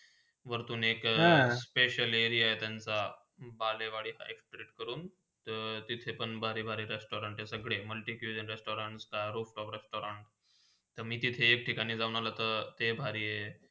व्रतून एकहा special area आहे त्यांचा बालीवडी high street कडून तर तिथे भारी -भारी restaurant सगळे multi cuisine restaurant कडून restuarant. तर, मी तिथे एक ठिकाणी जाऊन आला तर ते लयभारी आहे.